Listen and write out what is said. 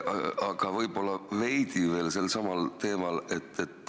Aga võib-olla veidi veel sel samal teemal.